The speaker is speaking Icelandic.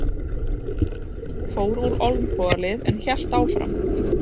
Fór úr olnbogalið en hélt áfram